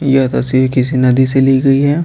यह तस्वीर किसी नदी से ली गई है।